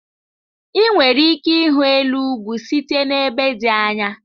Ị nwere ike ịhụ elu ugwu site n'ebe dị anya.